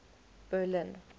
berlin